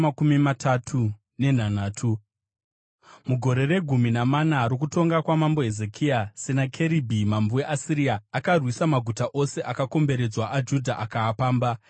Mugore regumi namana rokutonga kwaMambo Hezekia, Senakeribhi mambo weAsiria akarwisa maguta ose akakomberedzwa aJudha akaapamba.